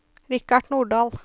Richard Nordahl